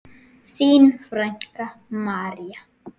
Þín frænka, María.